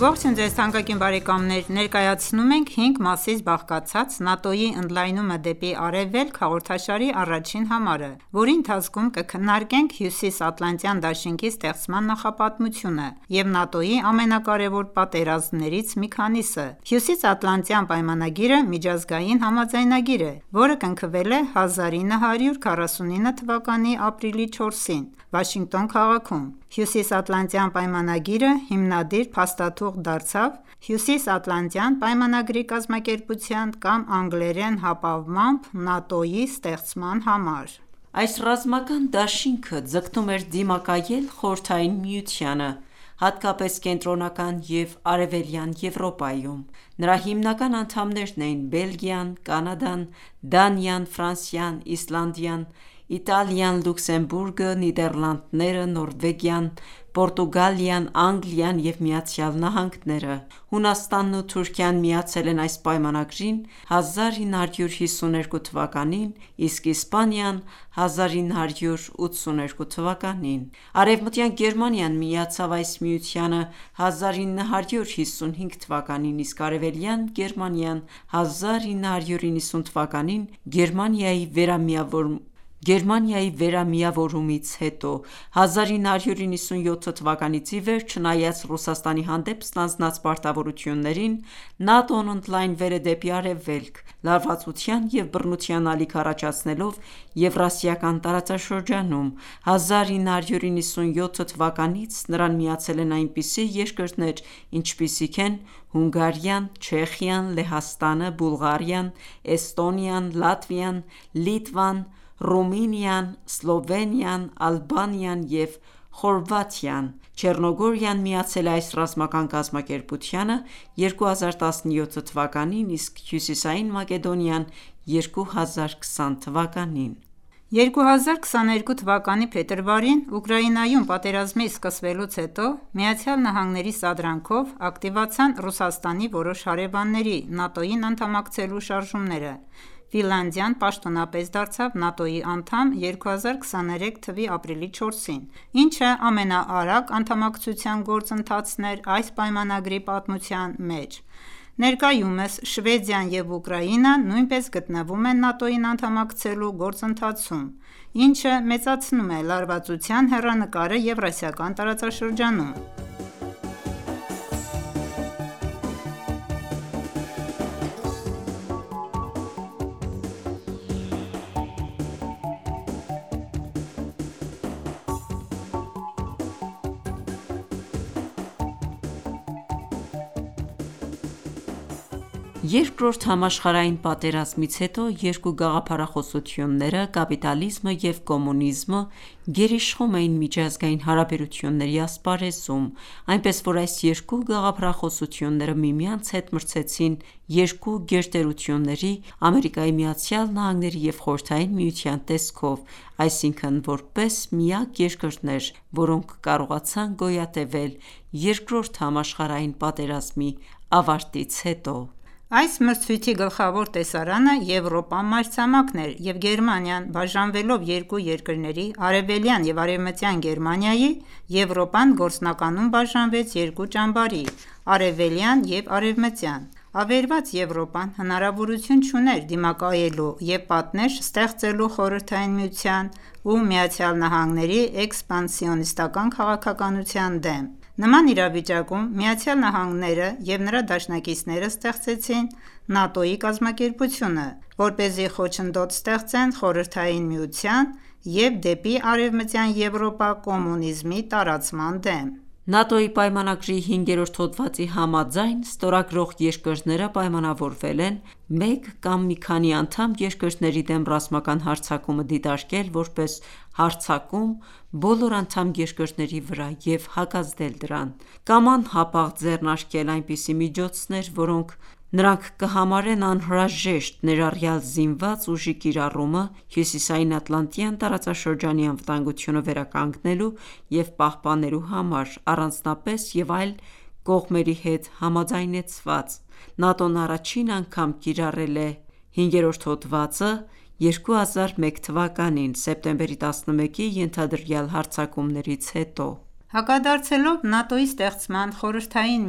Ողջույն ձեզ թանկագին բարեկամներ: Ներկայացնում ենք հինգ մասից բաղկացած «ՆԱՏՕ-ի ընդլայնումը դեպի արևելք» հաղորդաշարի առաջին համարը, որի ընթացքում կքննարկենք Հյուսիսատլանտյան դաշինքի (ՆԱՏՕ) ստեղծման նախապատմությունը և ՆԱՏՕ-ի ամենակարևոր պատերազմներից մի քանիսը։ Հյուսիսատլանտյան պայմանագիրը միջազգային համաձայնագիր է,որը կնքվել է 1949 թվականի ապրիլի 4-ին, Վաշինգտոն քաղաքում։ Հյուսիսատլանտյան պայմանագիրը հիմադիր փաստաթուղթ դարձավ Հյուսիսատլանտյան պայմանագրի կազմակերպության կամ անգլերեն հապամվամբ ՆԱՏՕ-ի (NATO, North Atlantic Treaty Organization) ստեղծման համար։ Այս ռազմական դաշինքը ձգտում էր դիմակայել Խորհրդային Միությանը, հատկապես Կենտրոնական և Արևելյան Եվրոպայում: Նրա հիմնական անդամներն էին Բելգիան, Կանադան, Դանիան, Ֆրանսիան, Իսլանդիան, Իտալիան, Լյուքսեմբուրգը, Նիդեռլանդները, Նորվեգիան, Պորտուգալիան, Անգլիան և Միացյալ Նահանգները։ Հունաստանն ու Թուրքիան միացել են այս պայմանագրին 1952 թվականին, իսկ Իսպանիան՝ 1982 թվականին։ Արևմտյան Գերմանիան միացավ այս միությանը 1955 թվականին, իսկ Արևելյան Գերմանիան՝ 1990 թվականին Գերմանիայի վերամիավորումից հետո։ 1997 թվականից ի վեր, չնայած Ռուսաստանի հանդեպ ստանձնած պարտավորություններին, ՆԱՏՕ-ն ընդլայնվել է դեպի արևելք՝ լարվածության և բռնության ալիք առաջացնելով Եվրասիական տարածաշրջանում։ 1997 թվականից նրան միացել են այնպիսի երկրներ, ինչպիսիք են Հունգարիան, Չեխիան, Լեհաստանը, Բուլղարիան, Էստոնիան, Լատվիան, Լիտվան, Ռումինիան, Սլովենիան, Ալբանիան և Խորվաթիան։ Չեռնոգորիան միացել է այս ռազմական կազմակերպությանը 2017 թվականին, իսկ Հյուսիսային Մակեդոնիան՝ 2020 թվականին։ 2022 թվականի փետրվարին Ուկրաինայում պատերազմի սկսվելուց հետո, Ամերիկայի սադրանքով, ակտիվացան Ռուսաստանի որոշ հարևանների՝ ՆԱՏՕ-ին անդամակցելու շարժումները։ Ֆինլանդիան պաշտոնապես դարձավ ՆԱՏՕ-ի անդամ 2023 թվականի ապրիլի 4-ին, ինչը ամենաարագ անդամակցության գործընթացն էր այս պայմանագրի պատմության մեջ։ Ներկայումս Շվեդիան և Ուկրաինան նույնպես գտնվում են ՆԱՏՕ-ին անդամակցելու գործընթացում, ինչը մեծացնում է լարվածության հեռանկարը Եվրասիական տարածաշրջանում։ Երկրորդ համաշխարհային պատերազմից հետո երկու գաղափարախոսությունները՝ կապիտալիզմը և կոմունիզմը, գերիշխում էին միջազգային հարաբերությունների ասպարեզում։ Այնպես, որ այս երկու գաղափարախոսությունները միմյանց հետ մրցեցին երկու գերտերությունների՝ ԱՄՆ-ի և Խորհրդային Միության տեսքով, այսինքն՝ որպես միակ երկրներ, որոնք կարողացան գոյատևել Երկրորդ համաշխարհային պատերազմի ավարտից հետո։ Այս մրցույթի գլխավոր տեսարանը Եվրոպա մայրցամաքն էր, և Գերմանիան բաժանվելով երկու երկրների՝ Արևելյան և Արևմտյան Գերմանիայի, Եվրոպան գործնականում բաժանվեց երկու ճամբարի՝ Արևելյան և Արևմտյան։ Ավերված Եվրոպան հնարավորություն չուներ դիմակայելու և պատնեշ ստեղծելու Խորհրդային Միության և ԱՄՆ-ի էքսպանսիոնիստական քաղաքականության դեմ։ Նման իրավիճակում Ամերիկայի Միացյալ Նահանգները և նրա դաշնակիցները ստեղծեցին ՆԱՏՕ-ի կազմակերպությունը, որպեսզի խոչընդոտ ստեղծեն Խորհրդային Միության և դեպի Արևմտյան Եվրոպա կոմունիզմի տարածման դեմ: ՆԱՏՕ-ի պայմանագրի 5-րդ հոդվածի համաձայն՝ ստորագրող երկրները պայմանավորվել են մեկ կամ մի քանի անդամ երկրների դեմ ռազմական հարձակումը դիտարկել որպես հարձակում բոլոր անդամ երկրների վրա և հակազդել դրան։ Կամ անհապաղ ձեռնարկել այնպիսի միջոցներ, որոնք նրանք կհամարեն անհրաժեշտ, ներառյալ զինված ուժի կիրառումը, Հյուսիսային Ատլանտյան տարածաշրջանի անվտանգությունը վերականգնելու և պահպանելու համար՝ առանձնապես և այլ կողմերի հետ համաձայնեցված: ՆԱՏՕ-ն առաջին անգամ կիրառել է V հոդվածը 2001 թվականին՝ սեպտեմբերի 11-ի ենթադրյալ հարձակումներից հետո: Հակադարձելով ՆԱՏՕ-ի ստեղծման՝ Խորհրդային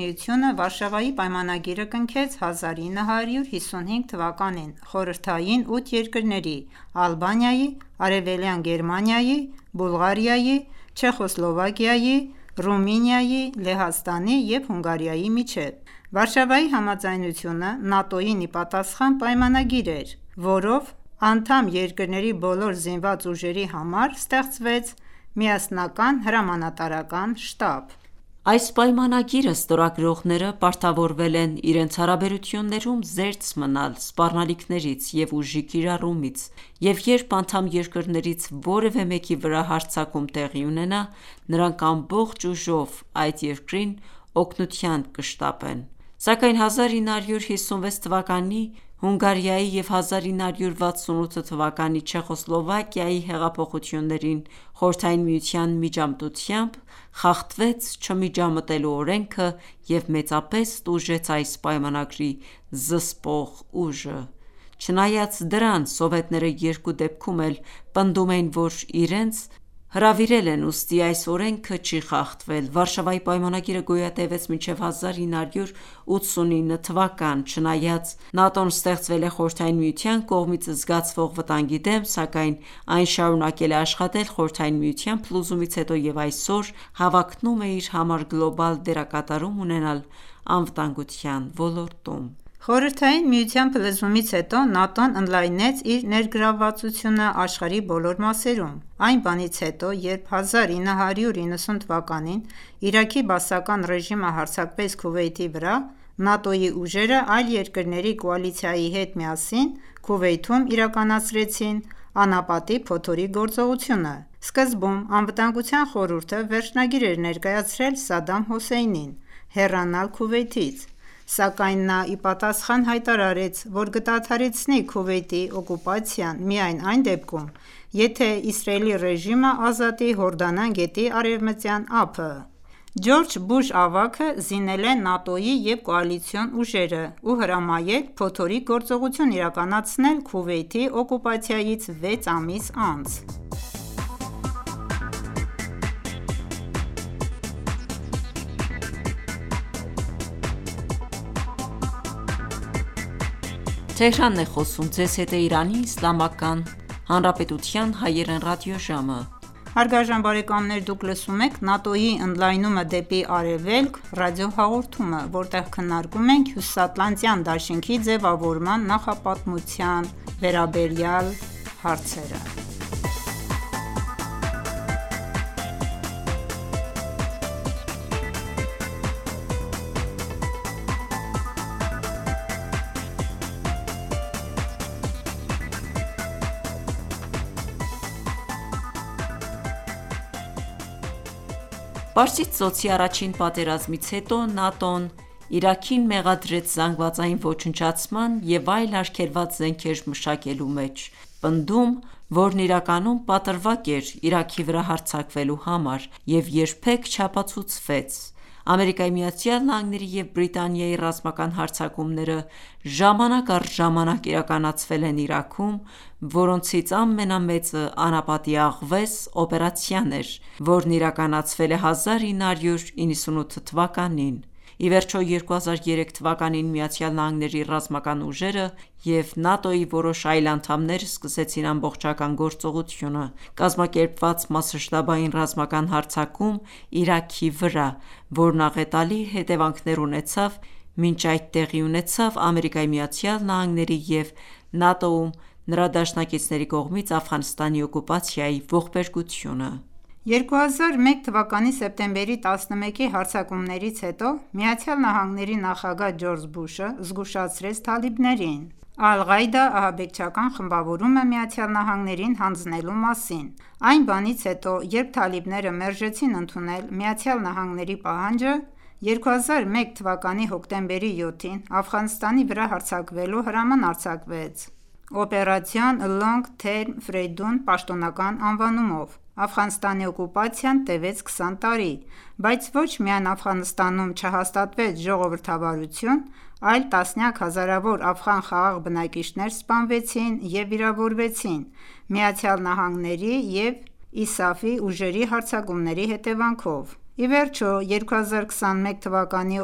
Միությունը Վարշավայի պայմանագիրը կնքեց 1955 թվականին խորհրդային ութ երկրների՝ Ալբանիայի, Արևելյան Գերմանիայի, Բուլղարիայի, Չեխոսլովակիայի, Ռումինիայի, Լեհաստանի և Հունգարիայի միջև։ Վարշավայի համաձայնությունը ՆԱՏՕ-ին ի պատասխան պայմանագիր էր, որով անդամ երկրների բոլոր զինված ուժերի համար ստեղծվեց միասնական հրամանատարական շտաբ։ Այս պայմանագիրը ստորագրողները պարտավորվել են իրենց հարաբերություններում զերծ մնալ սպառնալիքներից և ուժի կիրառումից, և երբ անդամ երկրներից որևէ մեկի վրա հարձակում տեղի ունենա, նրանք ամբողջ ուժով այդ երկրին օգնության կշտապեն։ Սակայն 1956 թվականի Հունգարիայի և 1968 թվականի Չեխոսլովակիայի հեղափոխություններին Խորհրդային Միության միջամտությամբ խախտվեց չմիջամտելու օրենքը և մեծապես տուժեց այս պայմանագրի զսպող ուժը։ Չնայած դրան, սովետները երկու դեպքում էլ պնդում էին, որ իրենց հրավիրել են, ուստի այս օրենքը չի խախտվել։ Վարշավայի պայմանագիրը գոյատևեց մինչև 1989 թվական: Չնայած ՆԱՏՕ-ն ստեղծվել է Խորհրդային Միության կողմից զգացվող վտանգի դեմ, սակայն այն շարունակել է աշխատել Խորհրդային Միության փլուզումից հետո և այսօր հավակնում է իր համար գլոբալ դերակատարում ունենալ անվտանգության ոլորտում։ Խորհրդային Միության փլուզումից հետո ՆԱՏՕ-ն ընդլայնեց իր ներգրավվածությունը աշխարհի բոլոր մասերում: Այն բանից հետո, երբ 1990 թվականին Իրաքի բասական ռեժիմը հարձակվեց Քուվեյթի վրա, ՆԱՏՕ-ի ուժերը այլ երկրների կոալիցիայի հետ միասին Քուվեյթում իրականացրեցին «Անապատի փոթորիկ» գործողությունը: Սկզբում Անվտանգության խորհուրդը վերջնագիր էր ներկայացրել Սադամ Հուսեյնին՝ հեռանալ Քուվեյթից։ Սակայն նա ի պատասխան հայտարարեց, որ կդադարեցնի Քուվեյթի օկուպացիան միայն այն դեպքում, եթե Իսրայելի ռեժիմը ազատի Հորդանան գետի Արևմտյան ափը։ Ջորջ Բուշ ավագը զինել է ՆԱՏՕ-ի և կոալիցիոն ուժերը և հրամայել «Փոթորիկ» գործողությունն իրականացնել Քուվեյթի օկուպացիայից վեց ամիս անց: Պարսից ծոցի առաջին պատերազմից հետո ՆԱՏՕ-ն Իրաքին մեղադրեց զանգվածային ոչնչացման և այլ արգելված զենքեր մշակելու մեջ։ Պնդում, որն իրականում պատրվակ էր Իրաքի վրա հարձակվելու համար և երբեք չապացուցվեց: ԱՄՆ-ի և Բրիտանիայի ռազմական հարձակումները ժամանակ առ ժամանակ իրականացվել են Իրաքում, որոնցից ամենամեծը «Անապատի աղվես» օպերացիան էր, որն իրականացվել է 1998 թվականին: Ի վերջո, 2003 թվականին Միացյալ Նահանգների ռազմական ուժերը և ՆԱՏՕ-ի որոշ այլ անդամներ սկսեցին ամբողջական գործողությունը: Կազմակերպված մասշտաբային ռազմական հարձակում Իրաքի վրա, որն աղետալի հետևանքներ ունեցավ։ Մինչ այդ տեղի ունեցավ ԱՄՆ-ի և ՆԱՏՕ-ում նրա դաշնակիցների կողմից Աֆղանստանի օկուպացիայի ողբերգությունը։ 2001 թվականի սեպտեմբերի 11-ի հարձակումներից հետո Միացյալ Նահանգների նախագահ Ջորջ Բուշը զգուշացրեց թալիբներին «Ալ-Ղաիդա» ահաբեկչական խմբավորումը ԱՄՆ-ին հանձնելու մասին: Այն բանից հետո, երբ թալիբները մերժեցին ընդունել Ամերիկայի Միացյալ Նահանգների պահանջը, 2001 թվականի հոկտեմբերի 7-ին Աֆղանստանի վրա հարձակվելու հրաման արձակվեց՝ «Operation Long Term Freedom» պաշտոնական անվանումով։ Աֆղանստանի օկուպացիան տևեց քսան տարի, բայց ոչ միայն Աֆղանստանում չհաստատվեց ժողովրդավարություն, այլ տասնյակ հազարավոր աֆղան խաղաղ բնակիչներ սպանվեցին և վիրավորվեցին ԱՄՆ-ի և ISAF-ի ուժերի հարձակումների հետևանքով։ Ի վերջո, 2021 թվականի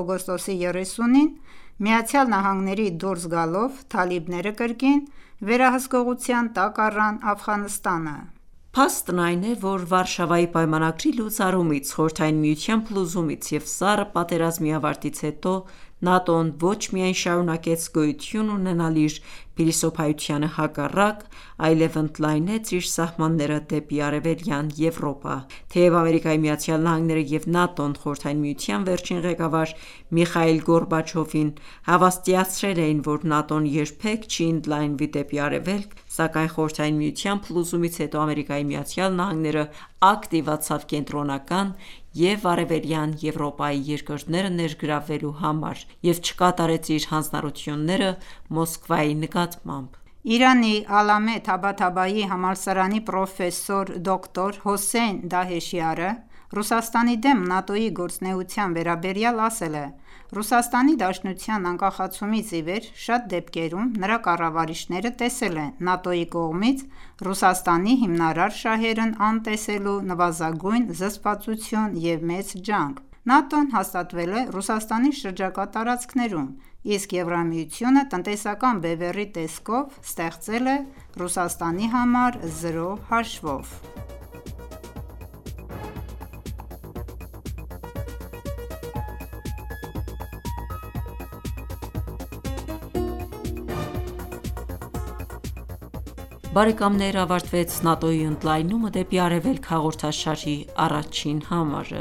օգոստոսի 30-ին ԱՄՆ-ի դուրս գալով, թալիբները կրկին վերահսկողության տակ առան Աֆղանստանը: Փաստն այն է, որ Վարշավայի պայմանագրի լուծարումից, Խորհրդային Միության փլուզումից և Սառը պատերազմի ավարտից հետո ՆԱՏՕ-ն ոչ միայն շարունակեց գոյություն ունենալ իր փիլիսոփայությանը հակառակ, այլև ընդլայնեց իր սահմանները դեպի Արևելյան Եվրոպա: Թեև ԱՄՆ-ն և ՆԱՏՕ-ն Խորհրդային Միության վերջին ղեկավար Միխայիլ Գորբաչովին հավաստիացրել էին, որ ՆԱՏՕ-ն երբեք չի ընդլայնվի դեպի արևելք, սակայն Խորհրդային Միության փլուզումից հետո ԱՄՆ-ն ակտիվացավ Կենտրոնական և Արևելյան Եվրոպայի երկրները ներգրավելու համար և չկատարեց իր հանձնառություննեը Մոսկվայի նկատմամբ: Իրանի Ալլամե Թաբաթաբայի համալսարանի պրոֆեսոր դոկտոր Հոսեյն Դահեշյարը Ռուսաստանի դեմ ՆԱՏՕ-ի գործունեության վերաբերյալ ասել է.«Ռուսաստանի Դաշնության անկախացումից ի վեր, շատ դեպքերում նրա կառավարիչները տեսել են ՆԱՏՕ-ի կողմից Ռուսաստանի հիմնարար շահերն անտեսելու նվազագույն զսպվածություն և մեծ ջանք»: ՆԱՏՕ-ն հաստատվել է Ռուսաստանի շրջակա տարածքներում, իսկ Եվրամիությունը տնտեսական բևեռի տեսքով ստեղծել է Ռուսաստանի համար զրո հաշվով»: Բարեկամներ ավարտվեց «ՆԱՏՕ-ի ընդլայնումը դեպի արևելք» հաղորդաշարի առաջին համարը: